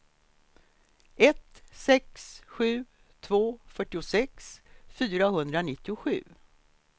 ett sex sju två fyrtiosex fyrahundranittiosju